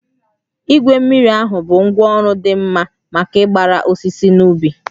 Igwe mmiri ahụ bụ ngwá ọrụ dị mma maka ịgbara osisi n'ubi